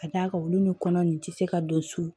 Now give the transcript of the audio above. Ka d'a kan olu ni kɔnɔ nin tɛ se ka don so